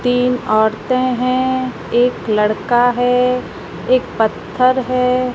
तीन औरतें हैं एक लड़का है एक पत्थर है।